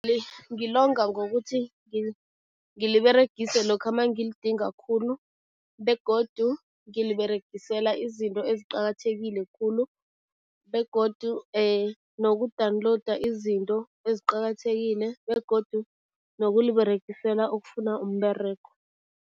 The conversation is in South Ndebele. Ngilonga ngokuthi ngiliberegise lokha mangilidinga khulu begodu ngiliberegisela izinto eziqakathekile khulu begodu noku-download izinto eziqakathekile begodu nokuliberegisela ukufuna umberego.